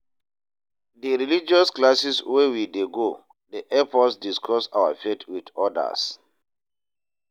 Di religious classes wey we dey go dey help us discuss our faith wit odas.